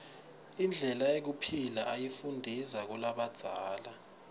indlela yekuphila uyifundiza kulabadzala